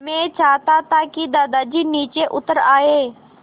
मैं चाहता था कि दादाजी नीचे उतर आएँ